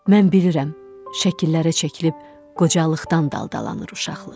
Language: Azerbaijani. Mən bilirəm, şəkillərə çəkilib qocalıqdan daldalanır uşaqlıq.